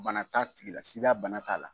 Bana t'a tigila bana t'a la.